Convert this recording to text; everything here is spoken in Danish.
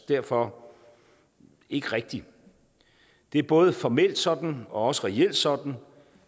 derfor ikke rigtig det er både formelt sådan og også reelt sådan